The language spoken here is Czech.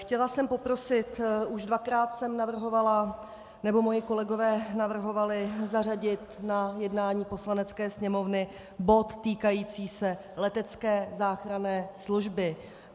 Chtěla jsem poprosit - už dvakrát jsem navrhovala, nebo moji kolegové navrhovali, zařadit na jednání Poslanecké sněmovny bod týkající se letecké záchranné služby.